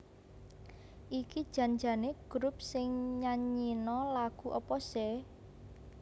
iki jan jane grup sing nyanyino lagu opo seh